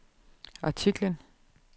artiklen